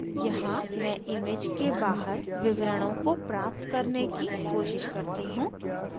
यहाँ मैं image के बाहर विवरणों को प्राप्त करने की कोशिश करती हूँ